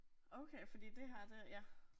Okay fordi det her det ja.